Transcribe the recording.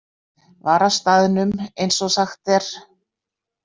Var á staðnum, eins og sagt er.